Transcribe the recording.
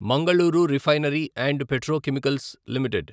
Mangaluru refinery and petrochemicals limited